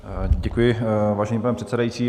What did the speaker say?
Děkuji, vážený pane předsedající.